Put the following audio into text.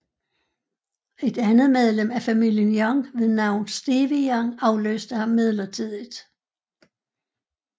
Et andet medlem af familien Young ved navn Stevie Young afløste ham midlertidigt